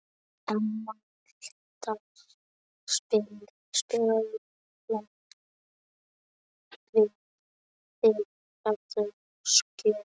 Emerald, spilaðu lagið „Þitt síðasta skjól“.